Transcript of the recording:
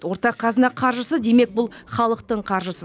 ортақ қазына қаржысы демек бұл халықтың қаржысы